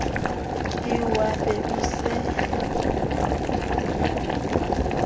ke wa be o se